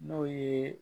N'o ye